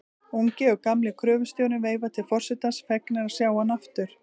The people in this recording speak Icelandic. Ungi og gamli gröfustjórinn veifa til forsetans, fegnir að sjá hann aftur.